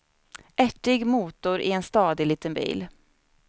Ärtig motor i en stadig liten bil.